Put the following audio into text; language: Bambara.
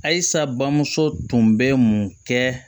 Ayisa bamuso tun bɛ mun kɛ